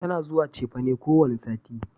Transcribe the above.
Tana zuwa cefane kowane sati